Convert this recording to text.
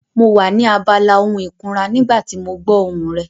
Mo wà ní abala ohun ìkunra nígbà tí mo gbọ́ ohùn rẹ.